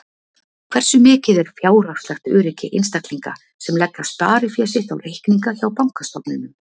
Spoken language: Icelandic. Hversu mikið er fjárhagslegt öryggi einstaklinga sem leggja sparifé sitt á reikninga hjá bankastofnunum?